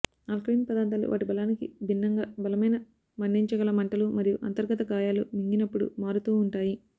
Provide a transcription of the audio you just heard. alkaline పదార్ధాలు వాటి బలానికి భిన్నంగా బలమైన మండించగల మంటలు మరియు అంతర్గత గాయాలు మింగినప్పుడు మారుతూ ఉంటాయి